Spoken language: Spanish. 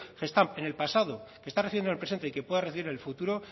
gestamp en el pasado que está recibiendo en el presente y que pueda recibir en el futuro